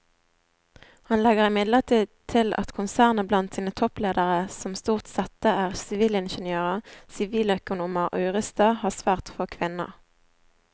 Han legger imidlertid til at konsernet blant sine toppledere som stort sette er sivilingeniører, siviløkonomer og jurister har svært få kvinner.